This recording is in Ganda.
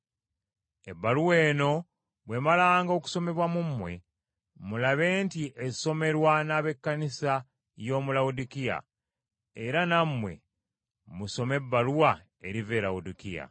Ebbaluwa eno bw’emalanga okusomebwa mu mmwe, mulabe nti esomerwa n’ab’ekkanisa y’omu Lawodikiya, era nammwe musome ebbaluwa eriva e Lawodikiya.